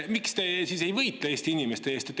Miks te siis ei võitle Eesti inimeste eest?